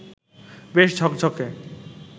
বেশ ঝকঝকে